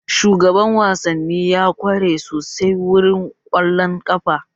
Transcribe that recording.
Shugaban wasanni ya kware sosai wurin kwallon ƙafa